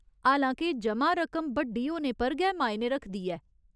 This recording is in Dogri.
हालां के जमा रकम बड्डी होने पर गै मायने रखदी ऐ।